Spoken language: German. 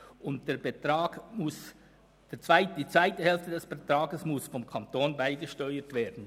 Die zweite Hälfte muss vom Kanton beigesteuert werden.